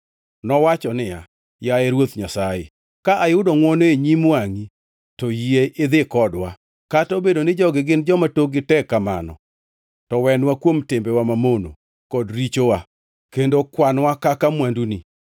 Nowacho niya, “Yaye Ruoth Nyasaye, ka ayudo ngʼwono e nyim wangʼi, to yie idhi kodwa. Kata obedo ni jogi gin joma tokgi tek kamano, to wenwa kuom timbewa mamono kod richowa kendo kwan-wa kaka mwanduni.”